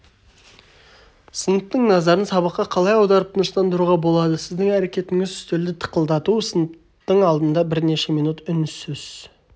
сыныптың назарын сабаққа қалай аударып тыныштандыруға болады сіздің әрекетіңіз үстелді тықылдату сыныптың алдында бірнеше минут үнсіз